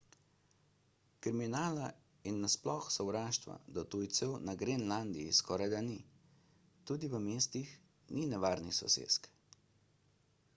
kriminala in na sploh sovraštva do tujcev na grenlandiji skorajda ni tudi v mestih ni nevarnih sosesk